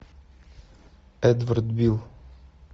эдвард бил